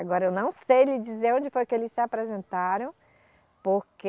Agora eu não sei lhe dizer onde foi que eles se apresentaram, porque...